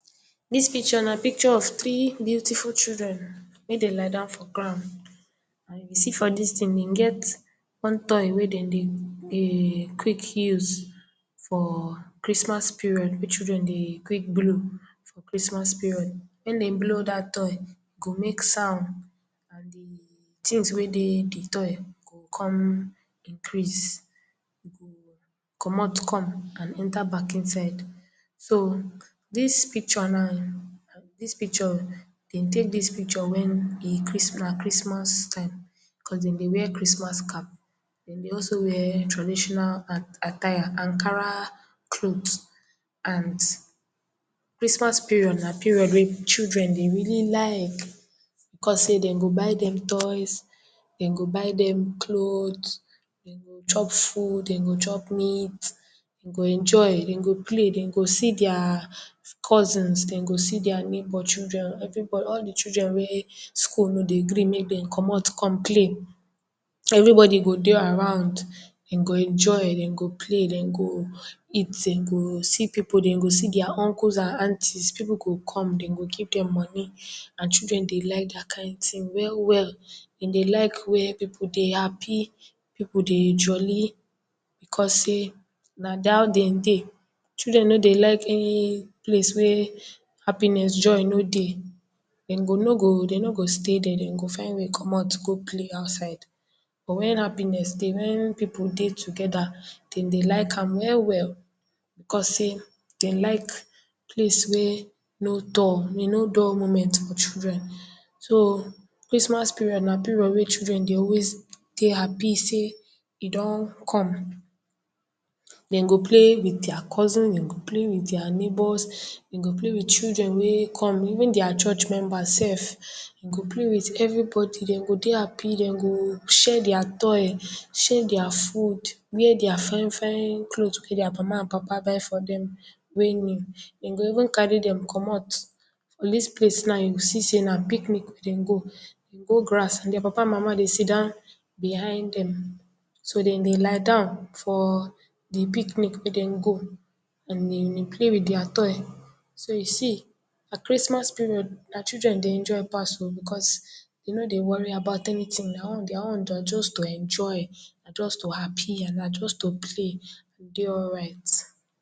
Dis picture na picture of tiri beautiful children wey den lie down for ground. You see for dis tin, e get one toy wey den dey dey quick use for Christmas period wey children dey quick blow for Christmas period, wen den blow dat toy, e go make sound, and di tins wey dey di toy go kon increase, e go comot come and enter back inside. So, dis picture now, dis picture, den tek dis picture wen be Christ, na Christmas time, because den dey wear Christmas cap, den dey also wear traditional um, attire, Ankara clot and Christmas period na period wey children dey really like because sey den go buy dem toys, den go buy dem clots, den go chop food, den go chop meat, den go enjoy, den go play, den go see dia cousins, dia neighbor children, everybo, all di children wey school no dey gree mey den comot kon play, everybody go dey around, den go enjoy, den go play, den go eat, den go see pipu, den go see dia uncles and aunties, pipu go come, den go give dem money and children dey like dat kind tin well well. Den dey like where pipu dey happy, pipu dey jolly, because sey na da how den dey, children no dey like um place wey happiness, joy no dey, den go no go, den no go stay dier, den go find way comot, go play outside. But wen happiness dey, wen pipu dey togeda, den dey like am well well, because sey den like place wey no dull, no dull moment for children. So, Christmas period na period wey children dey always dey happy sey e don come. Den go play wit dia cousins, den go play wit dia neighbors, den go play wit children wey come, even dia church member sef, den go play wit everybody, den go dey happy, den go share dia toy, share dia food, wear dia fine fine clot wey dia mama and papa buy for dem wey new, den go even carry dem comot. For dis place now, you go see sey na picnic wey den go, den go grass and dia papa and mama dey sit down behind dem, so den dey lie down for di picnic wey den go and den dey play wit dia toy. So, you see na Christmas period na children dey enjoy pass o, because den no dey worry about anytin, dia own, dia own na just to enjoy, na just to happy and na just to play, and dey alright.